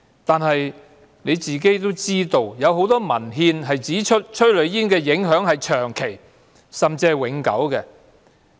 局長也知道，很多文獻也指出催淚煙的影響是長期，甚至是永久的。